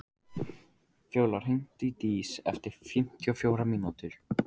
Fjóla, hringdu í Dís eftir fimmtíu og fjórar mínútur.